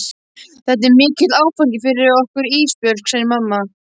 Þetta er mikill áfangi fyrir okkur Ísbjörg, segir mamma.